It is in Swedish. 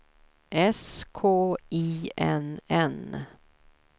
S K I N N